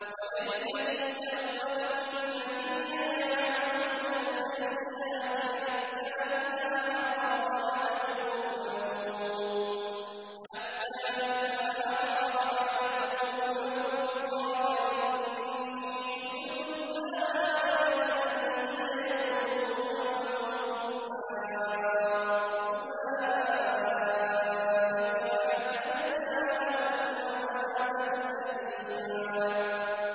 وَلَيْسَتِ التَّوْبَةُ لِلَّذِينَ يَعْمَلُونَ السَّيِّئَاتِ حَتَّىٰ إِذَا حَضَرَ أَحَدَهُمُ الْمَوْتُ قَالَ إِنِّي تُبْتُ الْآنَ وَلَا الَّذِينَ يَمُوتُونَ وَهُمْ كُفَّارٌ ۚ أُولَٰئِكَ أَعْتَدْنَا لَهُمْ عَذَابًا أَلِيمًا